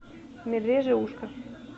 медвежье ушко